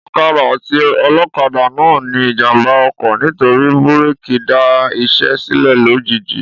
Ọ̀kadà àti olókadà náà ní ìjàmbá ọkọ̀ nítorí búrèkì dá isé sílè lojiji